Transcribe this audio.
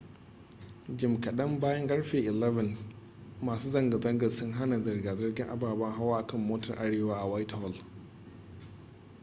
jim kadan bayan karfe 11:00 masu zanga-zangar sun hana zirga-zirgar ababen hawa a kan motar arewa a whitehall